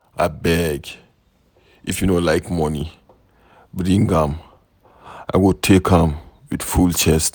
Abeg if you no like money, bring am, I go take am with full chest.